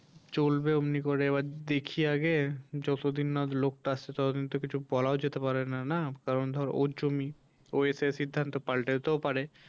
চলবে ওমনি করে এবার দেখি আগে যতদিন না লোকটা আসছে ততদিন তো কিছু বলাও যেতে পারে না না কারণ ধর ওর জমি ও এসে সিদ্ধান্ত পাল্টাতেও পারে।